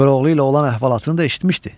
Koroğlu ilə olan əhvalatını da eşitmişdi.